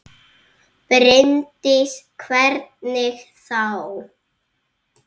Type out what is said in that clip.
Bryndís: Hvernig þá?